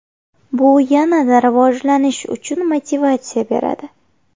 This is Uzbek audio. Bu yanada rivojlanish uchun motivatsiya beradi.